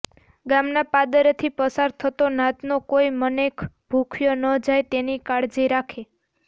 ગામના પાદરેથી પસાર થાતો નાતનો કોઇ મનેખ ભૂખ્યો ન જાય તેની કાળજી રાખે